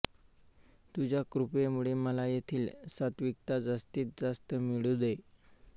तुझ्या कृपेमुळे मला येथील सात्त्विकता जास्तीतजास्त मिळू दे